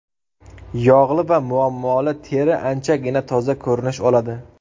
Yog‘li va Muammoli teri anchagina toza ko‘rinish oladi.